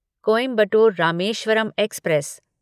Coimbatore Rameswaram express